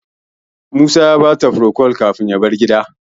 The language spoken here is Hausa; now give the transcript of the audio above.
Musa ya bata furocol kafin ya bar gidan.